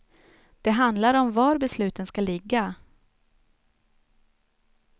Det handlar om var besluten ska ligga.